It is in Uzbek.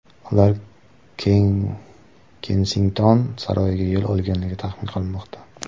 Ular Kensington saroyiga yo‘l olganligi taxmin qilinmoqda.